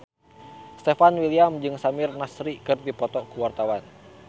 Stefan William jeung Samir Nasri keur dipoto ku wartawan